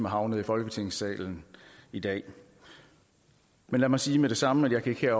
havnet i folketingssalen i dag men lad mig sige med det samme at jeg ikke